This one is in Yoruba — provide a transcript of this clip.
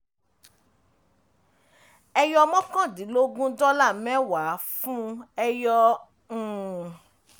ẹyọ mọ́kàndínlógún x dọ́là mẹ́wàá fún ẹyọ um